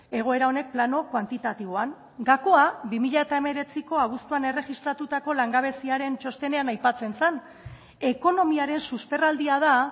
egoera honek plano kuantitatiboan gakoa bi mila hemeretziko abuztuan erregistratuko langabeziaren txostenean aipatzen zen ekonomiaren susperraldia da